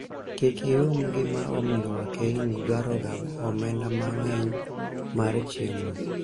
kik ium gima omiyo wakeini dwaro ga omenda mang'eny mar chiemo